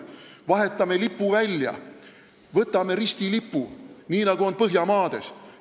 Vahetame lipu välja: võtame ristilipu, nii nagu on Põhjamaades!